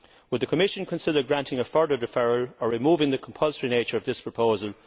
Would the Commission consider granting a further deferral or removing the compulsory nature of this proposal?